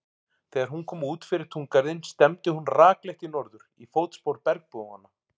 Þegar hún kom út fyrir túngarðinn stefndi hún rakleitt í norður, í fótspor bergbúanna.